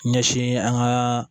Ɲɛsin an ka